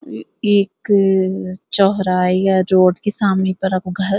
यू ऐक चौराहे या रोड कि समणी तरफ घर।